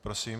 Prosím.